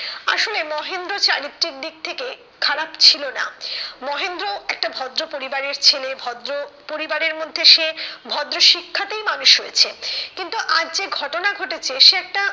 আসলে মহেন্দ্র চারিত্রিক দিক থেকে খারাপ ছিল না, মহেন্দ্র একটা ভদ্র পরিবারের ছেলে ভদ্র পরিবারের মধ্যে সে ভদ্র শিক্ষাতেই মানুষ হয়েছে, কিন্তু আজ যে ঘটনা ঘটেছে সে একটা,